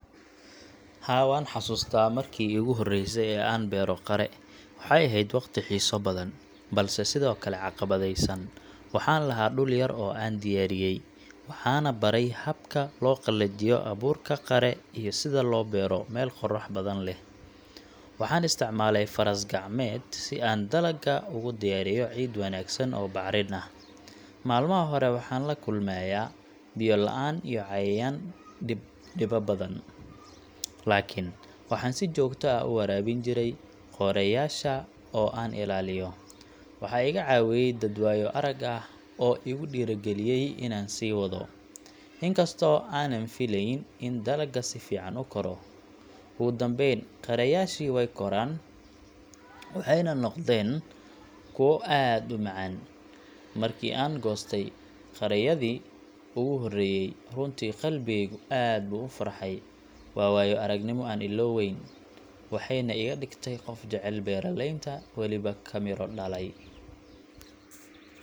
Haa, waan xasuustaa markii ugu horreysay ee aan beero qare. Waxay ahayd waqti xiiso badan, balse sidoo kale caqabadeysan. Waxaan lahaa dhul yar oo aan diyaariyay, waxaanna baray habka loo qalajiyo abuurka qare iyo sida loo beero meel qorrax badan leh. Waxaan isticmaalay faras-gacmeed si aan dalagga ugu diyaariyo ciid wanaagsan oo bacrin ah. Maalmaha hore waxaan la kulmayaa biyo-la’aan iyo cayayaan dhiba badan, laakiin waxaan si joogto ah u waraabin jiray qareyaasha oo aan ilaaliyo. Waxaa iga caawiyay dad waayo-arag ah oo igu dhiirrigeliyay inaan sii wado, inkastoo aanan filayn in dalagga si fiican u koro. Ugu dambeyn, qareyaashii wey koraan, waxayna noqdeen kuwo aad u macaan. Markii aan goostay qareyadii ugu horreeyay, runtii qalbigaygu aad buu u farxay. Waa waayo-aragnimo aan illoweyn, waxayna iga dhigtay qof jecel beeraleynta weliba ka miro dhalay.